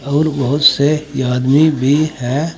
और बहोत से आदमी भी है।